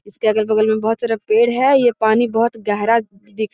इसके अगल-बगल में बहुत सारा पेड़ है ये पानी बहुत गहरा दिख --